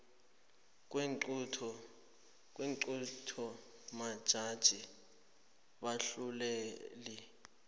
kweenqunto majaji bahluleli